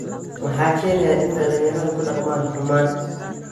Maxaa keenaya in dhallinyarada ku dhaqmaan kumaan?